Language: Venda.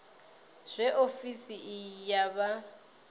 zwe ofisi iyi ya vha